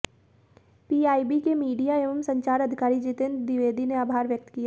PIB के media एवं संचार अधिकारी जितेंद्र द्विवेदी ने आभार व्यक्त किया